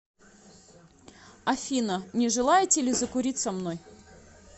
афина не желаете ли закурить со мной